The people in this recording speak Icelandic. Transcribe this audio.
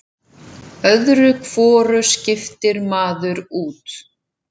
Öðru hvoru skiptir maður út.